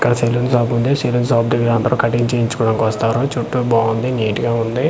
ఇక్కడ salon shop ఉంది salon shop దెగ్గర అందరూ కటింగ్ చేయించుకోవడానికి వస్తారు చుట్టూ బాగుంది నీట్ గా ఉంది.